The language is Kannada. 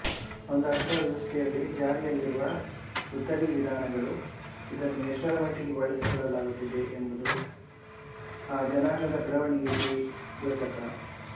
ಒಂದು ಅರ್ಥವ್ಯವಸ್ಥೆಯಲ್ಲಿ ಜಾರಿಯಲ್ಲಿರುವ ಉದ್ದರಿ ವಿಧಾನಗಳೂ ಇದನ್ನು ಎಷ್ಟರಮಟ್ಟಿಗೆ ಬಳಸಿಕೊಳ್ಳಲಾಗುತ್ತಿದೆ ಯೆಂಬುದೂ ಆ ಜನಾಂಗದ ಬೆಳೆವಣಿಗೆಗೆ ದ್ಯೋತಕ